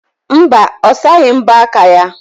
Mba, ọ saghị mbọ aka ya.